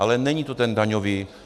Ale není to ten daňový...